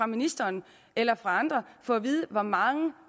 ministeren eller andre få at vide hvor mange